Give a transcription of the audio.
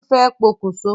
Bólú fẹ́ pokùn so.